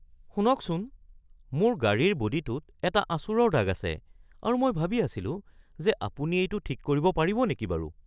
শুনকচোন! মোৰ গাড়ীৰ বডীটোত এটা আঁচোৰৰ দাগ আছে আৰু মই ভাবি আছিলো যে আপুনি এইটো ঠিক কৰিব পাৰিব নেকি বাৰু।